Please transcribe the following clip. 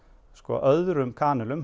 öðrum